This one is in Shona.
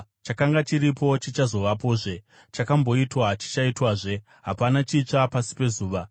Chakanga chiripo, chichazovapozve, chakamboitwa chichaitwazve; hapana chitsva pasi pezuva.